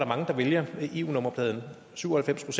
mange der vælger eu nummerpladen syv og halvfems